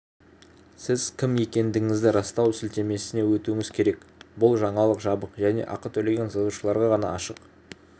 сіз кім екендігіңізді растау сілтемесіне өтуіңіз керек бұл жаңалық жабық және ақы төлеген жазылушыларға ғана ашық